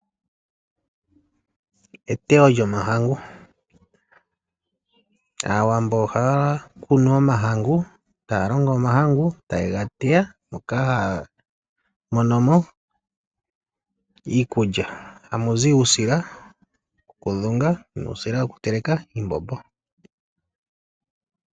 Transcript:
Eteyo lyomahangu. Aawambo ohaya kunu omahangu, e taya longo omahangu ngoka haye ga teya, moka haya mono mo iikulya. Hamu zi uusila wokudhunga nuusila wokuteleka iimbombo.